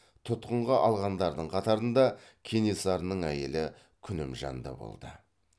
тұтқынға алғандардың қатарында кенесарының әйелі күнімжан да болды